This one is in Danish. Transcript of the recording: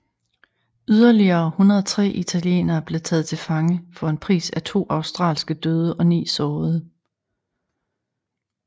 Yderligere 103 italienere blev taget til fange for en pris af to australske døde og ni sårede